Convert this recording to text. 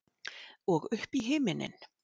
Og upp í himininn.